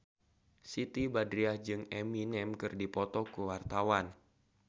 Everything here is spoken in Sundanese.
Siti Badriah jeung Eminem keur dipoto ku wartawan